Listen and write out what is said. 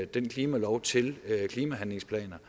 den klimalov til klimahandlingsplaner